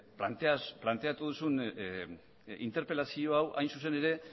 planteatu duzun interpelazio hau hain zuzen ere